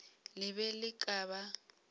le be le ka ba